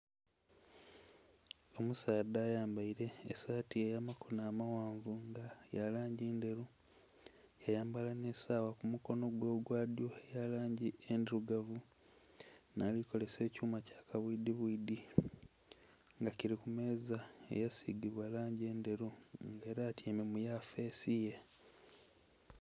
Omusaadha ayambaire esaati eya makono amaghanvu ya langi ndheru yayambala nhi sawa ku mukonho gwe ogwa dhyo eya langi endhirugavu nga ali kozesa ekyuma kya kabwidhi bwidhi nga kili ku meeza eya sigibwa langi endheru nga era atyaime mu yafesi ye.